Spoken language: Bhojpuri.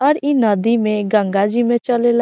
और इ नदी में गंगा जी में चलेला।